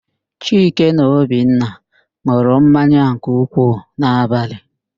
Chike na Obinna n̄ụrụ mmanya nke ukwuu n'abalị.